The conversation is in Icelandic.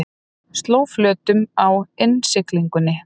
Sló flötum í innsiglingunni